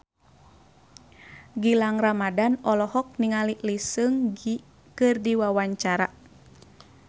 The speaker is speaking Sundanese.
Gilang Ramadan olohok ningali Lee Seung Gi keur diwawancara